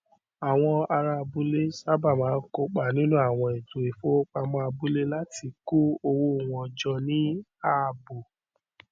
àwọn ará abúlé sábà máa ń kópa nínú àwọn ètò ìfowópamọ abúlé láti kó owó wọn jọ ní ààbò